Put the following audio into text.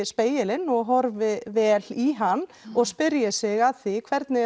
spegilinn og horfi vel í hann og spyrji sig að því hvernig